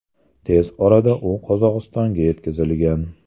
Tez orada u Qozog‘istonga yetkazilgan.